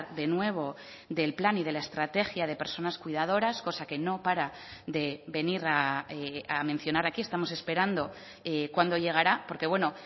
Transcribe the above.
de nuevo del plan y de la estrategia de personas cuidadoras cosa que no para de venir a mencionar aquí estamos esperando cuándo llegará porque bueno